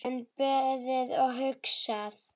Enn beðið og hugsað